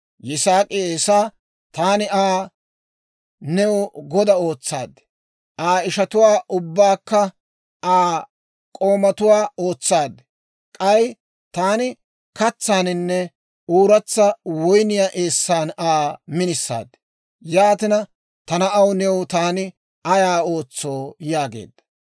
Yisaak'i Eesaa, «Taani Aa new goda ootsaad; Aa ishatuwaa ubbaakka Aa k'oomatuwaa ootsaad; k'ay taani katsaaninne ooratsa woyniyaa eessan Aa minisaad. Yaatina, ta na'aw, new taani ayaa ootsoo?» yaageedda.